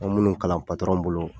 An ye minnu kalan patɔrɔn bolo